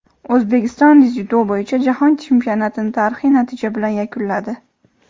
O‘zbekiston dzyudo bo‘yicha Jahon chempionatini tarixiy natija bilan yakunladi;.